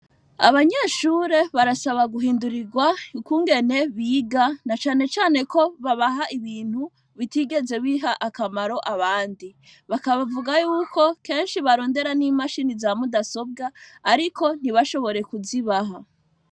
Abanyeshure barasaba guhindurirwa yukungene biga na canecane ko babaha ibintu bitigeze biha akamaro abandi bakabavuga yuko kenshi barondera n'imashini za mudasobwa, ariko ntibashobore kuzibaha.